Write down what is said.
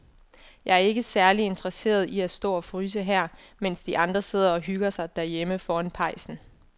Jeg er ikke særlig interesseret i at stå og fryse her, mens de andre sidder og hygger sig derhjemme foran pejsen.